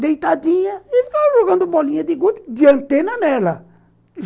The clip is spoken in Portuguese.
deitadinha e ficava jogando bolinha de gude de antena nela.